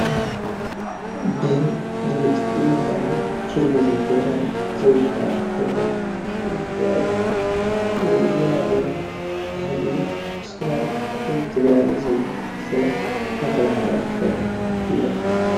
ብድምፂ ወያነ ቴሌቭዥን ትግራይ ዝመሓላለፍ ዘሎ ዜና እዩ እዚ ዜና ድማ ባህጊ፣ ሰላም ህዝቢ ትግራይ ዝብል ዜና እናተማሓላለፈ እዩ፡፡